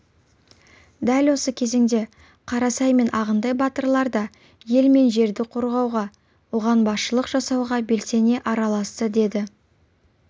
дәл осы кезеңде қарасай мен ағынтай батырлар да ел мен жерді қорғауға оған басшылық жасауға белсене араласты деді